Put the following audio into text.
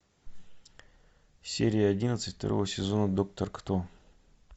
серия одиннадцать второго сезона доктор кто